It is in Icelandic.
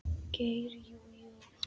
Geir Jú, jú.